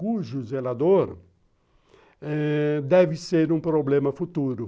cujo zelador eh deve ser um problema futuro.